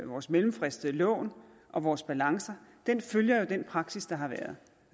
vores mellemfristede lån og vores balancer følger jo den praksis der har været